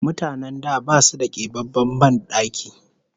Mutanen da basu da kebabben ban daki